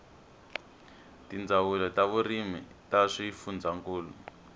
tindzawulo ta vurimi ta swifundzankulu